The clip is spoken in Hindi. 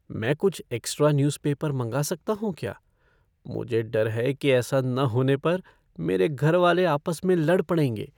मैं कुछ एक्स्ट्रा न्यूज़ पेपर मंगा सकता हूँ क्या? मुझे डर है कि ऐसा न होने पर मेरे घर वाले आपस में लड़ पड़ेंगे।